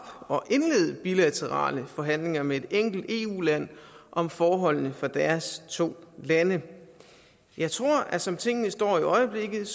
og indlede bilaterale forhandlinger med et enkelt eu land om forholdene for deres to lande jeg tror at som tingene står i øjeblikket